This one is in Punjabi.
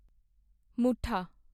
ਮੁੱਠਾ